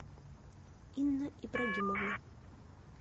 инна ибрагимовна